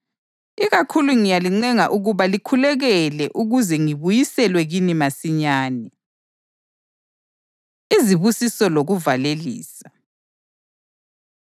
Ikakhulu ngiyalincenga ukuba likhuleke ukuze ngibuyiselwe kini masinyane. Izibusiso Lokuvalelisa